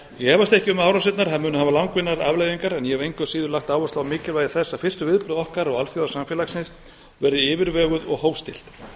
efast ekki um að árásirnar munu hafa langvinnar afleiðingar en ég hef engu að síður lagt áherslu á mikilvægi þess að fyrstu viðbrögð okkar og alþjóðasamfélagsins verði yfirveguð og hófstillt